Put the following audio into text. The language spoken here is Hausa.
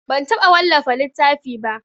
Ban taɓa wallafa littafi ba.